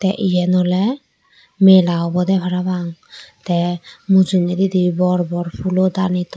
iyen oley mela obode parapang te mujungedi bor bor pulo tani toyo.